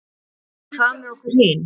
En hvað með okkur hin?